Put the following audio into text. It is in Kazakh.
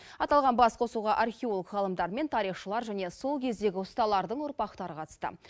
аталған басқосуға археолог ғалымдар мен тарихшылар және сол кездегі ұсталардың ұрпақтары қатысты